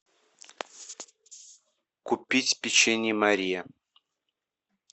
купить печенье мария